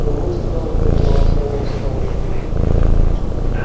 но лучше кэлвин занималась робопсихологией